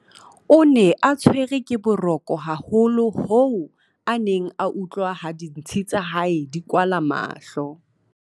o ne a tshwerwe ke boroko haholo hoo a neng a utlwa ha dintshi tsa hae di kwala mahlo